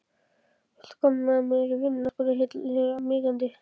Viltu koma með mér í vinnuna? spurði Milla hikandi.